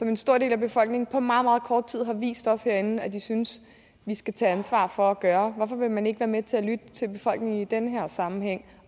en stor del af befolkningen på meget meget kort tid har vist os herinde hvad de synes vi skal tage ansvar for at gøre hvorfor vil man ikke være med til at lytte til befolkningen i den her sammenhæng